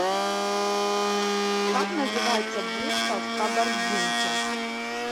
как называется бухта в кабардинке